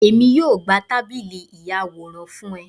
Èmi yóò gbà tábìlì ìyàwòrán fún ọ